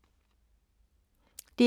DR K